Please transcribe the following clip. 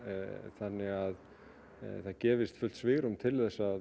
þannig að það gefist fullt svigrúm til þess að